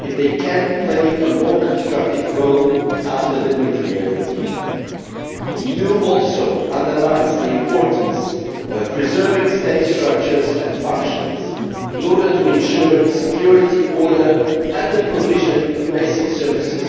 if they can play a more constructive role after the nuclear deal. The EU also underlines the importance of preserving state structures and functions, in order to ensure security, order and the provision of basic services